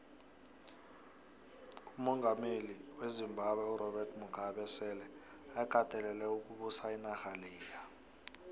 umongameli wezimbabwe urobert mugabe sele akatelele ukubusa inarha leya